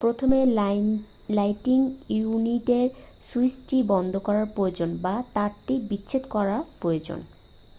প্রথমে লাইটিং ইউনিটের সুইচটি বন্ধ করা প্রয়োজন বা তারটি বিচ্ছিন্ন করা প্রয়োজন